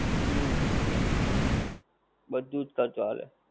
હુંમ. બધુજ ખર્ચો આલે.